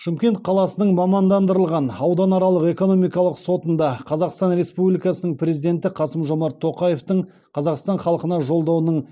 шымкент қаласының мамандандырылған ауданаралық экономикалық сотында қазақстан республикасы президенті қасым жомарт тоқаевтың қазақстан халқына жолдауының